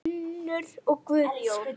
Unnur og Guðjón.